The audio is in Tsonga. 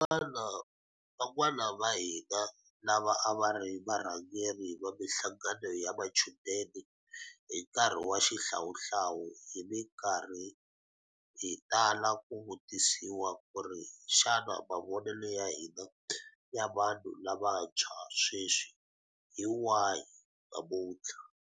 Van'wana vahina lava a va ri varhangeri va mihlangano ya machudeni hi nkarhi wa xihlawuhlawu hi mikarhi hi tala ku vutisiwa ku ri xana mavonelo ya hina ya vanhu lavantshwa sweswi hi wahi namutlha.